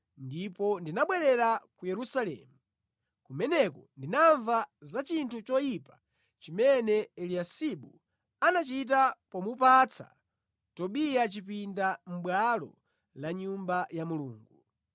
ndipo ndinabwerera ku Yerusalemu. Kumeneko ndinamva za chinthu choyipa chimene Eliyasibu anachita pomupatsa Tobiya chipinda mʼbwalo la Nyumba ya Mulungu.